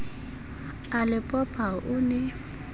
a le popa o ne